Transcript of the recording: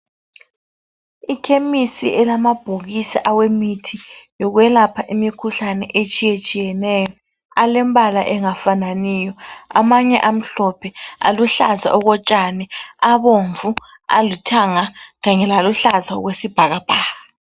Ikhemisi elamabhokisi awemithi yokwelapha imikhuhlane etshiye tshiyeneyo alembala engafananiyo amanye amhlophe, aluhlaza okotshani, abomvu, alithanga kanye laluhlaza okwesibhakabhaka.